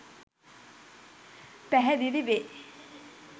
පැහැදිලි වේ.